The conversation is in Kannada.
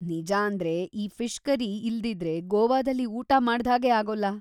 ನಿಜಾಂದ್ರೆ ಈ ಫಿಷ್‌ ಕರಿ ಇಲ್ದಿದ್ರೆ ಗೋವಾದಲ್ಲಿ ಊಟ ಮಾಡ್ದ್ಹಾಗೇ ಆಗೋಲ್ಲ.